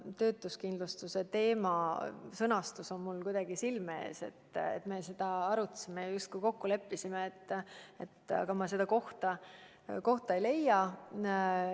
Töötuskindlustuse teema sõnastus on mul kuidagi silme ees, me seda arutasime ja justkui leppisime ka kokku, aga ma seda kohta praegu ei leia.